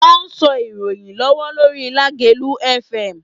Wọ́n sọ ìròyìn lọ́wọ́ lórí Lágelú Fm.